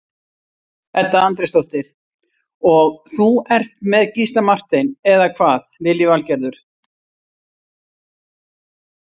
Edda Andrésdóttir: Og þú ert með Gísla Martein, eða hvað Lillý Valgerður?